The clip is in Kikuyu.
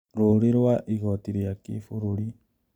Rũũri rwa igoti rĩa kĩbũrũri